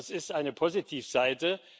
Das ist eine positive Seite.